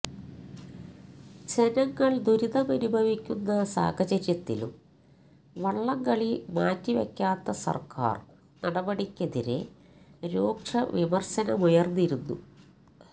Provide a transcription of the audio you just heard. ജനങ്ങള് ദുരിതമനുഭവിക്കുന്ന സാഹചര്യത്തിലും വള്ളംകളി മാറ്റിവെക്കാത്ത സര്ക്കാര് നടപടിക്കെതിരെ രൂക്ഷ വിമര്ശമുയര്ന്നിരുന്നു